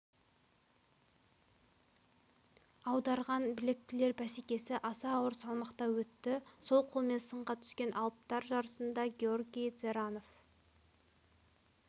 аударған білектілер бәсекесі аса ауыр салмақта өтті сол қолмен сынға түскен алыптар жарысында георгий дзеранов